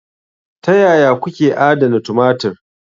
Ta yaya kuke adana tumatir?